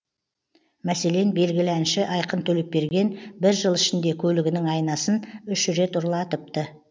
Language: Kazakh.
мәселен белгілі әнші айқын төлепберген бір жыл ішінде көлігінің айнасын үш рет ұрлатыпты